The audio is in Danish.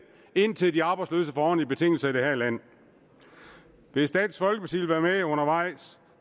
indtil de arbejdsløse får ordentlige betingelser i det her land hvis dansk folkeparti vil være med undervejs